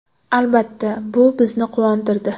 Albatta, bu bizni quvontirdi.